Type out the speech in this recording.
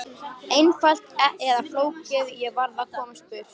Einfalt eða flókið, ég varð að komast burt.